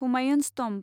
Humayun's tomb